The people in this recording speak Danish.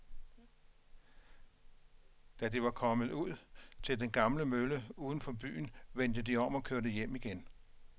Da de var kommet ud til den gamle mølle uden for byen, vendte de om og kørte hjem igen.